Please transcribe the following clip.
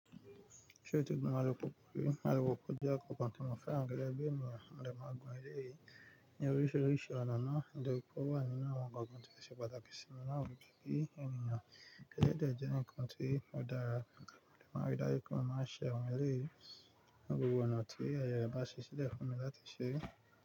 Ṣé o ti gun alùpùpù rí, alùpùpù jẹ́ ǹkan kan tí mo fẹ́ràn gẹ́gẹ́ bí ènìyàn. Mo dẹ̀ máa ń gun eléyìí ní oríṣiríṣi ọ̀nà náà. Nítoripé ó wà nínú àwọn ǹkan tí ó ṣe pàtàkì sí mi láwùjọ bí ènìyàn eléyìí dẹ̀ jẹ́ ǹkan tí ó dára. Òde máa ń rí dájú pé mo máa ṣe awọ́n eléyìí ní gbogbo ọ̀nà tí ààye ẹ̀ bá ṣí sílẹ̀ fún mi láti ṣe.